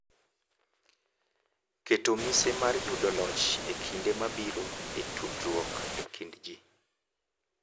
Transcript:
Keto mise mar yudo loch e kinde mabiro e tudruok e kind ji.